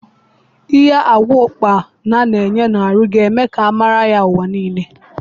Ihe agwa ukpana na enye n'ahụ ga eme ka a mara ya ụwa nile